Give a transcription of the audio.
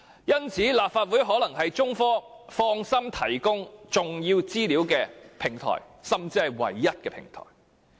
因此，立法會可能是中科放心提供重要資料的唯一平台。